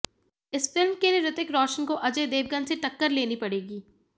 इस फिल्म के लिए ऋतिक रोशन को अजय देवगन से टक्कर लेनी पड़ेगी